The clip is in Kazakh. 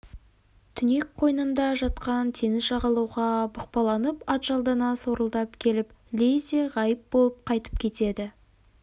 түнек қойнында жатқан теңіз жағалауға бұқпаланып атжалдана сорылдап келіп лезде ғайып болып қайтып кетеді